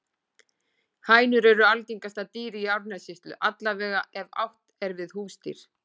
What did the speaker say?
Hænur eru algengasta dýrið í Árnessýslu, alla vega ef átt er við húsdýr.